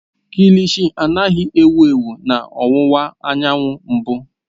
Kilishi anaghị ewu ewu na ọwụwa anyanwụ mbụ.